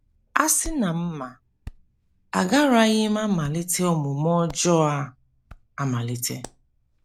A sị na m ma, agaraghị m amalite omume ọjọọ a amalite.